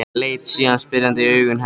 Leit síðan spyrjandi í augu hennar.